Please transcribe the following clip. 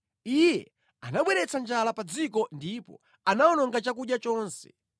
Iye anabweretsa njala pa dziko ndipo anawononga chakudya chonse;